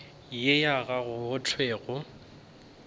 ye ya gago go thwego